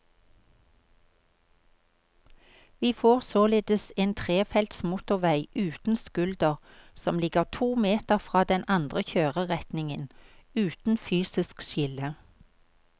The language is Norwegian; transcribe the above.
Vi får således en trefelts motorvei uten skulder som ligger to meter fra den andre kjøreretningen, uten fysisk skille.